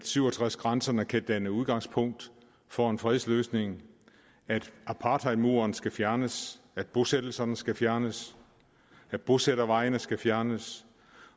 syv og tres grænserne kan danne udgangspunkt for en fredsløsning at apartheidmuren skal fjernes at bosættelserne skal fjernes at bosættervejene skal fjernes